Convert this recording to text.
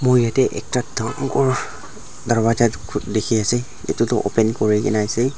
moi yatae ekta dangor darvaja tu dikhiase edu tu open kurikaena ase.